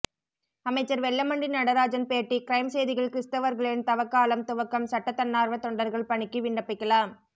அமைச்சர் வெல்லமண்டி நடராஜன் பேட்டி க்ரைம் செய்திகள் கிறிஸ்தவர்களின் தவக்காலம் துவக்கம் சட்ட தன்னார்வ தொண்டர்கள் பணிக்கு விண்ணப்பிக்கலாம்